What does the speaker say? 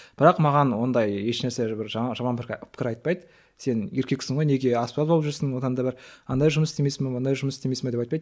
бірақ маған ондай ешнәрсе бір жаман пікір айтпайды сен еркексің ғой неге аспаз болып жүрсің одан да бір андай жұмыс істемейсің бе мындай жұмыс істемейсің бе деп айтпайды